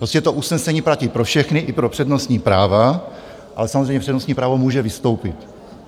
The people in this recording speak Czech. Prostě to usnesení platí pro všechny, i pro přednostní práva, ale samozřejmě přednostní právo může vystoupit.